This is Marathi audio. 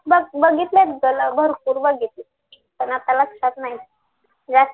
बघितलंय बघितलंय ना भरपूर बघितलेत पण आता लक्षात नाही